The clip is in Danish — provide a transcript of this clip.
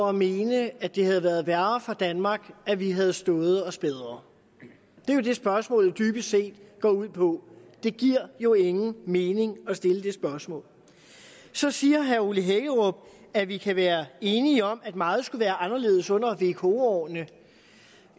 at mene at det havde været værre for danmark at vi havde stået os bedre det er jo det spørgsmålet dybest set går ud på det giver jo ingen mening at stille det spørgsmål så siger herre ole hækkerup at vi kan være enige om at meget skulle anderledes under vko årene